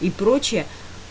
и прочее